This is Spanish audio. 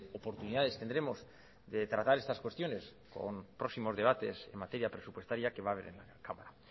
oportunidades tendremos de tratar estas cuestiones con próximos debates en materia presupuestaria que va a haber en la cámara